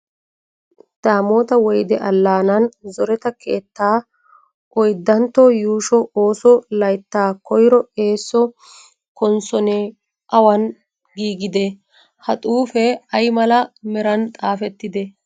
Daamoota Woyde Allaanaan zoreta keettaa oyddantto yuusho ooso layttaa koyro eeso konssonoy awan giigidee? Ha xuufe ay mala meran xaafettidee?